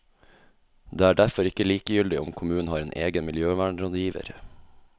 Det er derfor ikke likegyldig om kommunen har en egen miljøvernrådgiver.